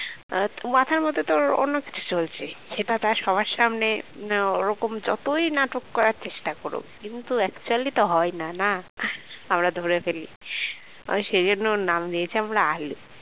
মাথার মধ্যে তো ওর অন্য কিছু চলছে সেটা তার সবার সামনে না ওরকম যতই নাটক করার চেষ্টা করুক কিন্তু actually তো হয় না, না আমরা ধরে ফেলি মানে সেই জন্য ওর নাম দিয়েছি আমরা আলু